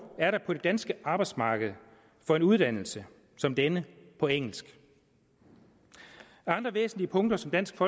er der på det danske arbejdsmarked for en uddannelse som denne på engelsk andre væsentlige punkter som dansk